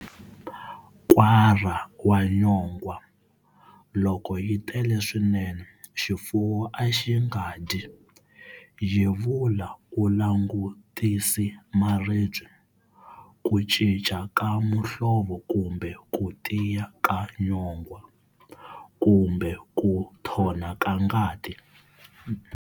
Nkwara wa nyongwa-Loko yi tele swinene, xifuwo a xi nga dyi. Yevula u langutisi maribye, ku cinca ka muhlvo kumbe ku tiya ka nyongwa, kumbe ku nthona ka ngati.